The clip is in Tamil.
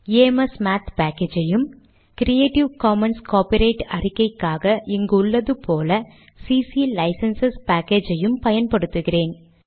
ஆம்ஸ்மாத் பேக்கேஜ் ஐயும் க்ரியேடிவ் காமன்ஸ் காபிரைட் அறிக்கைக்காக இங்கு உள்ளது போல கிளிசன்ஸ் பேக்கேஜ் ஐயும் பயன்படுத்துகிறோம்